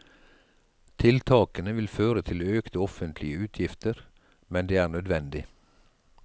Tiltakene vil føre til økte offentlige utgifter, men det er nødvendig.